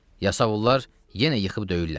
Yasavullar yenə yıxıb döyürlər.